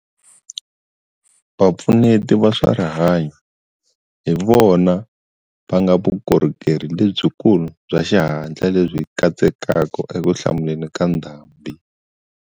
Vapfuneti va swa rihanyo hi vona va nga vukorhokeri lebyikulu bya xihatla lebyi katsekaka ekuhlamuleni ka ndhambi.